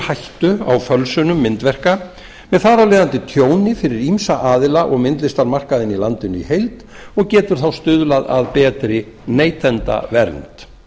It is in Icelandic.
hættu á fölsunum myndverka með þar af leiðandi tjóni fyrir ýmsa aðila og myndlistarmarkaðinn í landinu í heild og getur þá stuðlað að betri neytendavernd